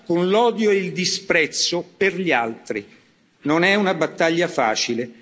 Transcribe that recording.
con l'odio e il disprezzo per gli altri. Non è una battaglia facile.